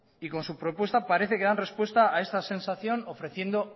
y con su propuesta parece que dan respuesta a esa sensación ofreciendo